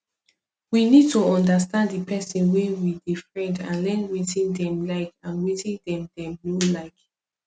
we need to understand di person wey we dey friend and learn wetin dem like and wetin dem dem no like